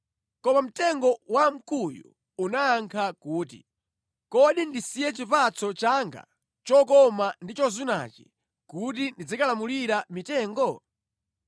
Koma mtengo wa mkuyu unayankha kuti, “Kodi ndisiye chipatso changa chokoma ndi chozunachi kuti ndizikalamulira mitengo?”